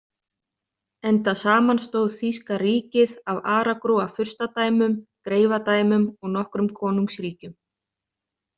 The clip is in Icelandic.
Enda samanstóð þýska ríkið af aragrúa furstadæmum, greifadæmum og nokkrum konungsríkjum.